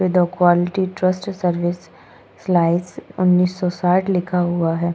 दो quality trust service slice उन्नीस सौ साठ लिखा हुआ है।